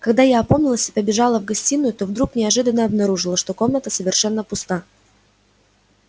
когда я опомнилась и побежала в гостиную то вдруг неожиданно обнаружила что комната совершенно пуста